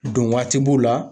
Don waati b'o la.